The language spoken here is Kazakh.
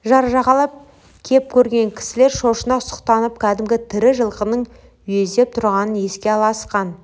жар жағалап кеп көрген кісілер шошына сұқтанып кәдімгі тірі жылқының үйездеп тұрғанын еске алысқан